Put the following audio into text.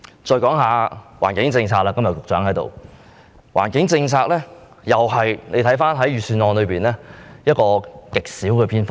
在環境政策方面——局長今天在席——環境政策在預算案中只佔極少篇幅。